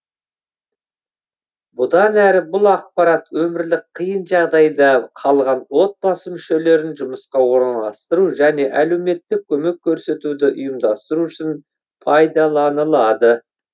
бұдан әрі бұл ақпарат өмірлік қиын жағдайда қалған отбасы мүшелерін жұмысқа орналастыру және әлеуметтік көмек көрсетуді ұйымдастыру үшін пайдаланылады